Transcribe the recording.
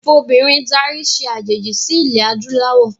Ìfobìnrin darí se àjèjì sí ilẹ̀ adúláwọ̀